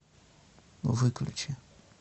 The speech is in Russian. выключи